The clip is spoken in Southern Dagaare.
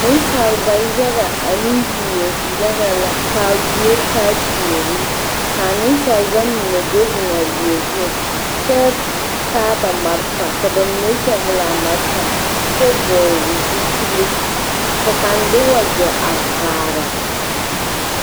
Nensalba yaga ane wie yaga la k,a wie taa tuori ka nensalba mine do zeŋ a wie zu kyɛ taa ba malfa ka ba mine pɛgle a malfa kyɛ vɔgle zupile ka kaŋ de wagyɛ a vaare.